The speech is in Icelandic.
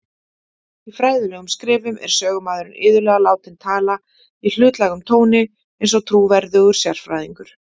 Í fræðilegum skrifum er sögumaðurinn iðulega látinn tala í hlutlægum tóni, eins og trúverðugur sérfræðingur.